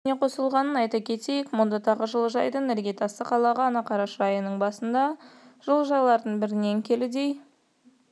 желісіне қосылған айта кетейік мұнда тағы жылыжайдың іргетасы қаланған қараша айының басында жылыжайлардың бірінен келідей